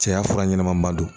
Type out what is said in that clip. Cɛya fura ɲɛnɛmanba don